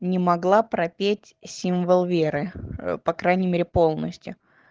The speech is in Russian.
не могла пропеть символ веры по крайней мере полностью